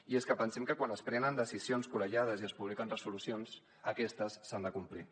i és que pensem que quan es prenen decisions col·legiades i es publiquen resolucions aquestes s’han de complir